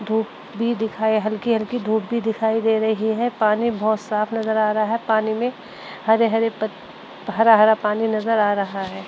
धूप भी दिखाई हल्की-हल्की धूप भी दिखाई दे रही है। पानी बोहोत साफ नज़र आ रहा है। पानी में हरे - हरे पत्त हरा - हरा पानी नजर आ रहा है।